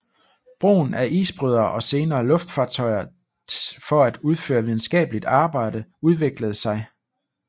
Brugen af isbrydere og senere luftfartøjer for at udføre videnskabeligt arbejde udviklede sig